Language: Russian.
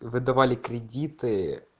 выдавали кредиты